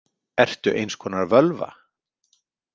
Ertu eins konar völva?